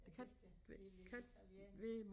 Er de ikke det en lille italiener